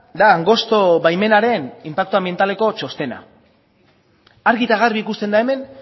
da angosto baimenaren inpaktu anbientaleko txostena argi eta garbi ikusten da hemen